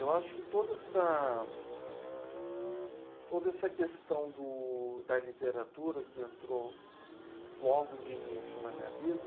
Eu acho que toda essa, toda essa questão do da literatura, que entrou logo de início na minha vida,